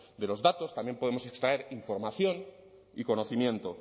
de los datos también podemos extraer información y conocimiento